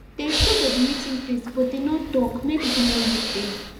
dem show for the meeting place but them no talk make people no look them